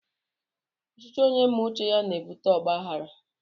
Ọchịchị onye me uche ya n'ebụte ọgbághárá